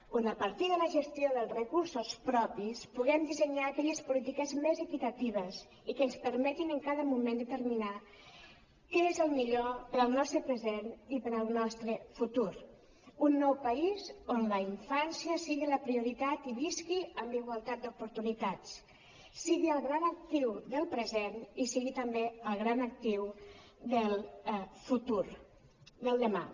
on a partir de la gestió dels recursos propis puguem dissenyar aquelles polítiques més equitatives i que ens permetin en cada moment determinar què és el millor per al nostre present i per al nostre futur un nou país on la infància sigui la prioritat i visqui amb igualtat d’oportunitats sigui el gran actiu del present i sigui també el gran actiu del futur del demà